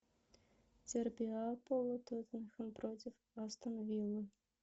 дерби апл тоттенхэм против астон вилла